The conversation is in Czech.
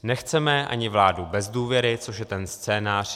Nechceme ani vládu bez důvěry, což je ten scénář.